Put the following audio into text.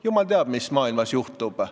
Jumal teab, mis maailmas juhtub.